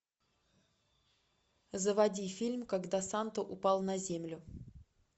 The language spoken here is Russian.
заводи фильм когда санта упал на землю